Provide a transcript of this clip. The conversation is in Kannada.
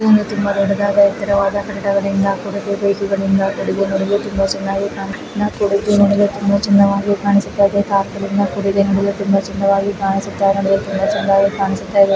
ಇದು ಒಂದು ತುಂಬಾ ದೊಡ್ಡದಾದ ಎತ್ತರವಾದ ಕಟ್ಟಡಗಳಿಂದ ಕೂಡಿದ ಬೈಕ್ ಗಳಿಂದ ಕುಡಿದು ನೋಡಲು ತುಂಬಾ ಚೆನ್ನಾಗಿದೆ ಕುಡಿದು ನೋಡಲು ತುಂಬಾ ಚೆನ್ನಾಗಿದೆ ಕಾಣಿಸುತ್ತದೆ .